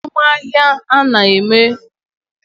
Azum ahia a na-enye ezigbo ego.